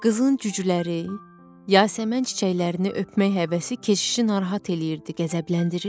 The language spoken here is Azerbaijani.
Qızın cücüləri, yasəmən çiçəklərini öpmək həvəsi keşişi narahat eləyirdi, qəzəbləndirirdi.